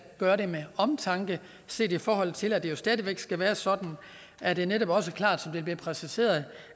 gøre det med omtanke set i forhold til at det jo stadig væk skal være sådan at det netop også er klart som det bliver præciseret